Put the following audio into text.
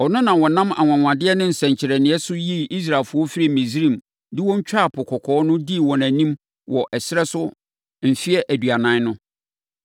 Ɔno na ɔnam anwanwadeɛ ne nsɛnkyerɛnneɛ so yii Israelfoɔ firii Misraim de wɔn twaa Po Kɔkɔɔ no dii wɔn anim wɔ ɛserɛ so mfeɛ aduanan no.